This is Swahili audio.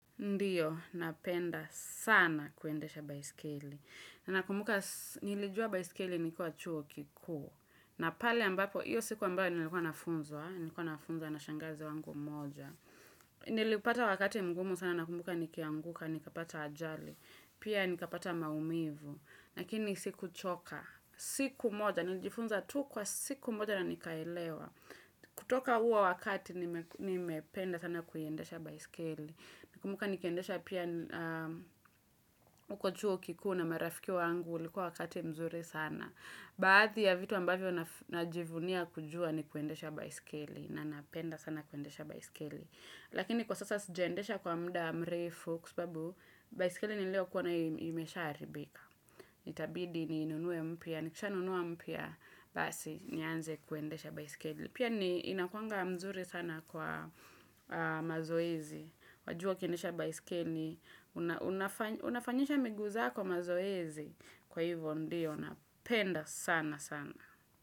Ndiyo, napenda sana kuendesha baiskeli. Nakumbuka nilijua baiskeli nikuwa chuo kikuu. Na pale ambapo, hiyo siku ambayo nilikuwa nafunzwa, Nilikuwa nafunzwa, na shangazi wangu mmoja. Nilipata wakati mgumu sana nakumbuka, nikianguka, nikapata ajali. Pia nikapata maumivu. Lakini sikuchoka. Siku moja, nilijifunza tu kwa siku moja na nikaelewa. Kutoka huo wakati, nimependa sana kuiendesha baiskeli. Nakumbuka nikiendesha pia huko chuo kikuu na marafiki wangu ulikuwa wakati mzuri sana. Baadhi ya vitu ambavyo najivunia kujua ni kuendesha baiskeli. Na napenda sana kuendesha baiskeli. Lakini kwa sasa sijendesha kwa muda mrefu kwa sababu, baiskeli niliyokuwa nayo imeshaharibika. Itabidi ninunue mpya, nikishanunua mpya basi nianze kuendesha baiskeli. Pia inakuwanga mzuri sana kwa mazoezi. Wajua ukiendesha baiskeli. Unafanyisha miguu zako mazoezi. Kwa hivyo ndiyo, napenda sana sana.